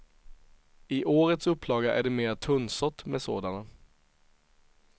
I årets upplaga är det mera tunnsått med sådana.